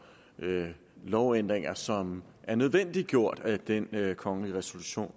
lovændringer som er nødvendiggjort at den kongelige resolution